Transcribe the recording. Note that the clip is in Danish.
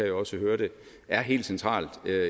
jo også hørte er helt central